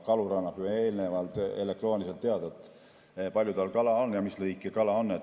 Kalur annab eelnevalt elektrooniliselt teada, kui palju tal kala on ja mis liiki kala see on.